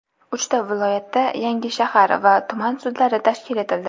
Uchta viloyatda yangi shahar va tuman sudlari tashkil etildi.